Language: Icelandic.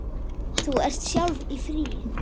Þú ert sjálf í fríi.